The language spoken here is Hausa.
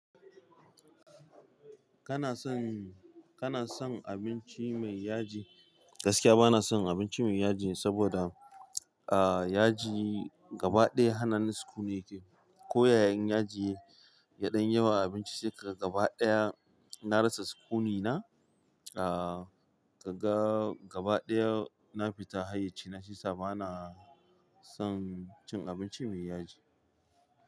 Kana son, kana son abinci mai yaji? Gaskiya bana son abinci mai yaji saboda, ah, yaji gaba ɗaya hanannin sukuni yake. Ko ya yan yaji yaɗan yawa a abinci sai ka gaba ɗaya na rasa sukuni na. Ah, ka ga gaba ɗaya na fita hayyaci na shi sabana son cin abinci mai yaji.